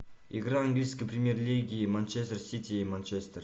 игра английской премьер лиги манчестер сити и манчестер